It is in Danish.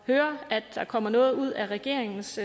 høre at der kommer noget ud af regeringens